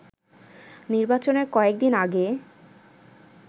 নির্বাচনের কয়েকদিন আগে